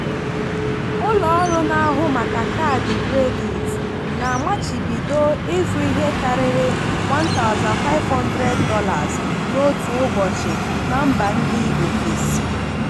ụlọọrụ na-ahụ maka kaadị kredit na-amachibido ịzụ ihe karịrị $1500 n'otu ụbọchị na mba ndị ofesi.